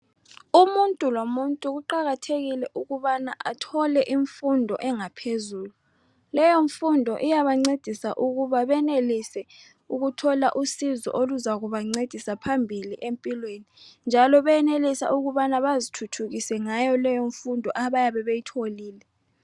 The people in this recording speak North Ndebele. Umuntu lomuntu kuqakathekile ukubana athole imfundo yaphezulu. Leyo mfundo iyabancefisa ikubana bathole usizo oluzakuba ncedisa emphilweni. Njalo bayayenelisa ukubana bazithuthukise ngayo leyo mfundo ababe beyitholile.